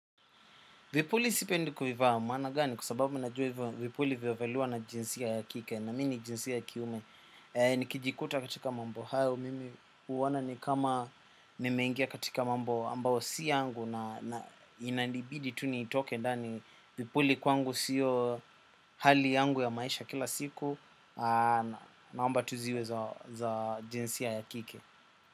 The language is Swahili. Vipuli sipendi kuvivaa maana gani kwa sababu najua hivyo vipuli vinavaliwa na jinsia ya kike na mimi ni jinsia ya kiume. Nikijikuta katika mambo hayo mimi huona ni kama nimengia katika mambo ambayo si yangu na inanibidi tu nitoke ndani. Vipuli kwangu siyo hali yangu ya maisha kila siku naomba tu ziwe za jinsia ya kike.